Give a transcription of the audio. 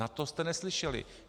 Na to jste neslyšeli.